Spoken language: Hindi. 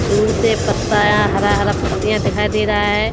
दूर से पत्ता अ हरा-हरा पत्तियाँ दिखाई दे रहा है।